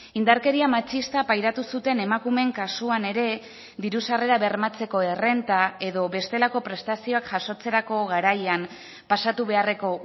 indarkeria matxista pairatu zuten emakumeen kasuan ere diru sarrerak bermatzeko errenta edo bestelako prestazioak jasotzerako garaian pasatu beharreko